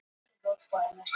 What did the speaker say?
Höfum eitt á hreinu.